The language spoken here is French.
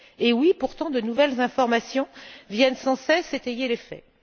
Oui, pourtant, de nouvelles informations viennent sans cesse étayer les faits.